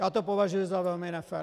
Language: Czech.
Já to považuji za velmi nefér.